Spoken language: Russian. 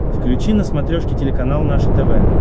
включи на смотрешке телеканал наше тв